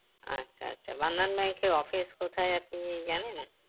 আচ্ছা আচ্ছা bandhan bank এর office কোথায় আপনি জানেন